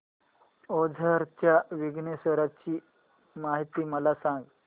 ओझर च्या विघ्नेश्वर ची महती मला सांग